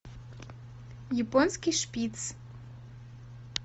японский шпиц